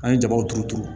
An ye jabaw turu turu